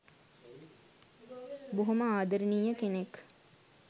බොහෝම ආදරණීය කෙනෙක්.